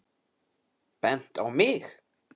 Bent á mig!